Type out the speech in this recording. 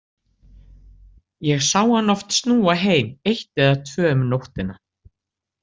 Ég sá hann oft snúa heim eitt eða tvö um nóttina.